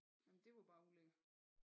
Nej men det var bare ulækkert